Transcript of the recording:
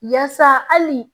Yaasa hali